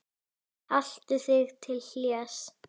Haltu þig til hlés.